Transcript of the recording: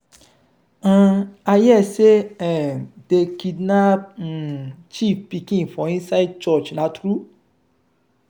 um i hear say um dey kidnap um chief pikin for inside church na true?